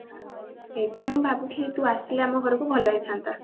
ସେଇଥିପାଇଁ ମୁଁ ଭାବୁଥିଲି ତୁ ଆସିଲେ ଆମ ଘରକୁ ଭଲ ହେଇଥାନ୍ତା